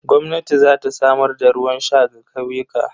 Gwamnati za ta samar da ruwan sha ga ƙauyuka.